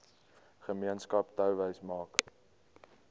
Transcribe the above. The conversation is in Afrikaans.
gemeenskap touwys maak